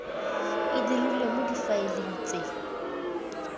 e dirilwe mo difaeleng tse